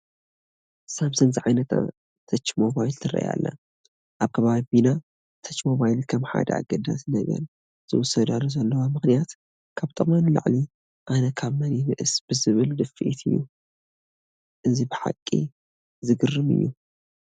ሳምሰንግ ዝዓይነታ ተች ሞባይል ትርአ ኣላ፡፡ ኣብ ከባቢና ተች ሞባይ ከም ሓደ ኣገዳሲ ነገር ዝውሰዳሉ ዘለዋ ምኽንያት ካብ ጥቕመን ንላዕሊ ኣነ ካብ መን ይንእስ ብዝብል ድፍኢት እዩ፡፡ እዚ ብሓቂ ዘግርም እዩ፡፡